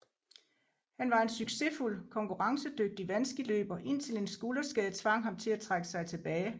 Han var en succesfuld konkurrencedygtig vandskiløber indtil en skulderskade tvang ham til at trække sig tilbage